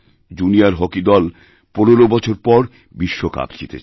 junior hockey দল ১৫ বছর পর বিশ্বকাপ জিতেছে